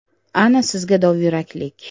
Ana sizga dovyuraklik.